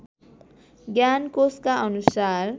ज्ञान कोषका अनुसार